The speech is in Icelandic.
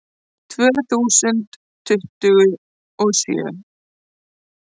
Tvö þúsund tuttugu og sjö